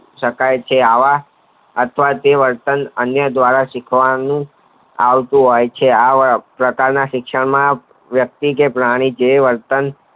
શકાય છે આવા વર્તન અન્ય દ્વારા શીખવાનું આવતું હોય છે આવા પ્રકાર ના શિક્ષણમાં વ્યક્તિકે પ્રાણી જે વર્તન